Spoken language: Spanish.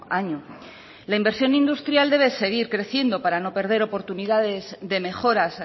año la inversión industrial debe seguir creciendo para no perder oportunidades de mejoras